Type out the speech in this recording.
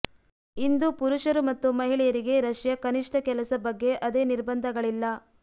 ಇಂದು ಪುರುಷರು ಮತ್ತು ಮಹಿಳೆಯರಿಗೆ ರಷ್ಯಾ ಕನಿಷ್ಠ ಕೆಲಸ ಬಗ್ಗೆ ಅದೇ ನಿರ್ಬಂಧಗಳಿಲ್ಲ